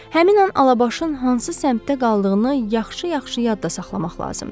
Həmin an Alabaşın hansı səmtdə qaldığını yaxşı-yaxşı yadda saxlamaq lazımdır.